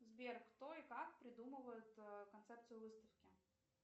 сбер кто и как придумывает концепцию выставки